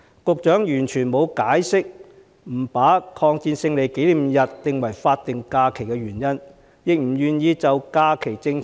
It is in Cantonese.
局長完全沒有解釋不把抗日戰爭勝利紀念日列為法定假日的原因，亦不願意檢討假期政策。